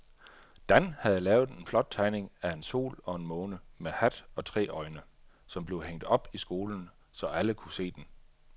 Dan havde lavet en flot tegning af en sol og en måne med hat og tre øjne, som blev hængt op i skolen, så alle kunne se den.